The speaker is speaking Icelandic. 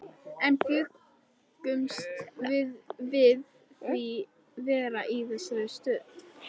En bjuggumst við við því að vera í þessari stöðu?